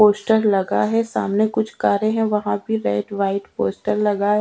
poster लगा है सामने कुछ कारे है वहा पर भी वाइट पोस्टर लगा--